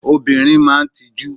Obìnrin máa ń tijú.